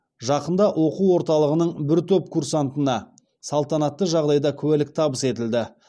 жақында оқу орталығының бір топ курсантына салтанатты жағдайда куәлік табыс етілді